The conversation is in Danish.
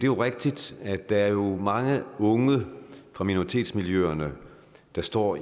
jo rigtigt at der er mange unge fra minoritetsmiljøerne der står